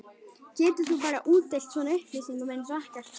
Getur þú bara útdeilt svona upplýsingum eins og ekkert sé?